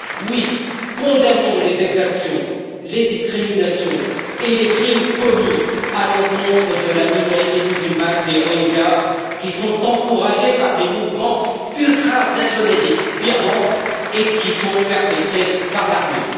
Oui, condamnons les exactions, les discriminations et les crimes commis à l'encontre de la minorité musulmane des Rohingyas, qui sont encouragés par les mouvements ultranationalistes birmans et qui sont perpétrés par l'armée.